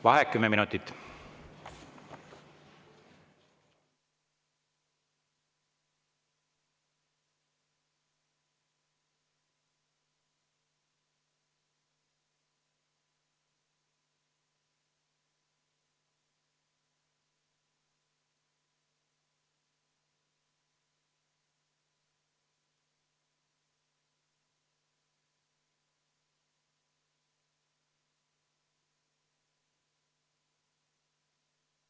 Vaheaeg kümme minutit.